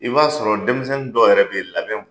I b'a sɔrɔ denmisɛnnin dɔw yɛrɛ bɛ yen, labɛn bɛ